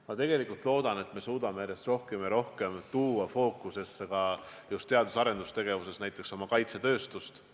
Ma loodan, et me suudame järjest rohkem ja rohkem tuua teadus- ja arendustegevuses fookusesse oma kaitsetööstust.